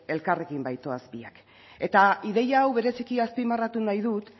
elkarrekin baitoaz biak eta ideia hau bereziki azpimarratu nahi dut